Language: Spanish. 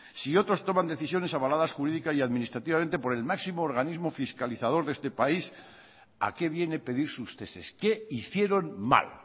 si otros toman decisiones avaladas jurídica y administrativamente por el máximo organismo fiscalizador de este país a qué viene pedir sus ceses qué hicieron mal